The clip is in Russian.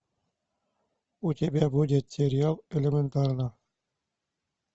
у тебя будет сериал элементарно